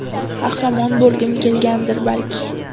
Qahramon bo‘lgim kelgandir, balki.